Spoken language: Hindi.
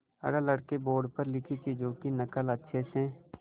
अगर लड़के बोर्ड पर लिखी चीज़ों की नकल अच्छे से